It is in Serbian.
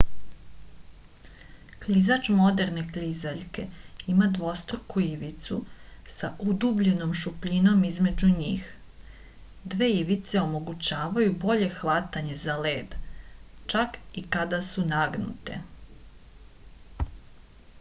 klizač moderne klizaljke ima dvostruku ivicu sa udubljenom šupljinom između njih dve ivice omogućavaju bolje hvatanje za led čak i kada su nagnute